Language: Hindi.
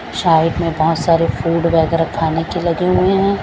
साइड में बहोत सारे फूड वैगरा खाने के लगे हुए है।